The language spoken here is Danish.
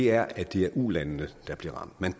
er at det er ulandene der bliver ramt man